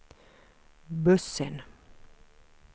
bussen